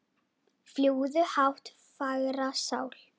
Fljúgðu hátt fagra sál.